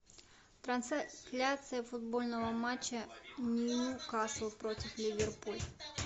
трансляция футбольного матча ньюкасл против ливерпуль